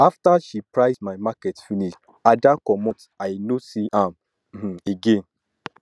after she price my market finish ada comot i no see am um again